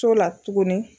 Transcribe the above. So la tuguni